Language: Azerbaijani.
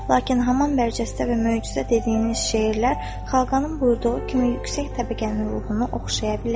Lakin hamam bərcəsdə və möcüzə dediyiniz şeirlər xaqanın buyurduğu kimi yüksək təbəqənin ruhunu oxşaya bilər.